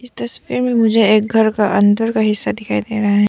तस्वीर में मुझे एक घर का अंदर का हिस्सा दिखाई दे रहा है।